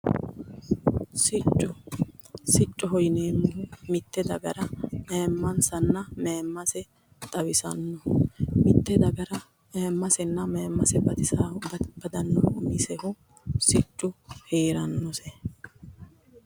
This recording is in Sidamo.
Sicco, siccoho yineemmohu mite dagara ayimmansanna mayimmase xawisanoho ,mite dagara ayimmasenna mayimmase badanohu siccu heeranose.